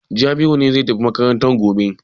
Jabiru ne zai tafi makaranta gobe.